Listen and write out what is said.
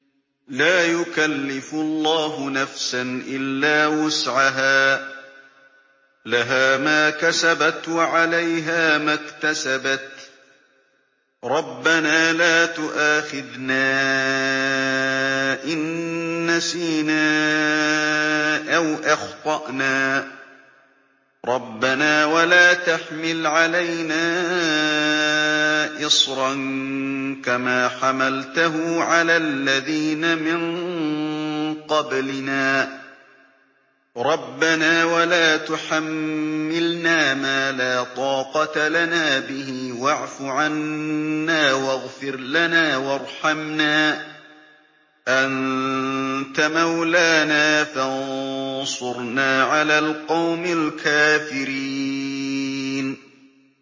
لَا يُكَلِّفُ اللَّهُ نَفْسًا إِلَّا وُسْعَهَا ۚ لَهَا مَا كَسَبَتْ وَعَلَيْهَا مَا اكْتَسَبَتْ ۗ رَبَّنَا لَا تُؤَاخِذْنَا إِن نَّسِينَا أَوْ أَخْطَأْنَا ۚ رَبَّنَا وَلَا تَحْمِلْ عَلَيْنَا إِصْرًا كَمَا حَمَلْتَهُ عَلَى الَّذِينَ مِن قَبْلِنَا ۚ رَبَّنَا وَلَا تُحَمِّلْنَا مَا لَا طَاقَةَ لَنَا بِهِ ۖ وَاعْفُ عَنَّا وَاغْفِرْ لَنَا وَارْحَمْنَا ۚ أَنتَ مَوْلَانَا فَانصُرْنَا عَلَى الْقَوْمِ الْكَافِرِينَ